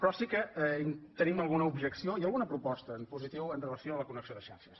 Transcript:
però sí que tenim alguna objecció i alguna proposta en positiu amb relació a la connexió de xarxes